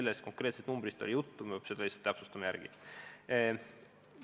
Ma pean täpsustama, kas tõesti oli tegu selle konkreetse numbriga.